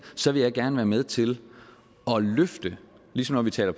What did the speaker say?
så vil jeg gerne være med til at løfte ligesom når vi taler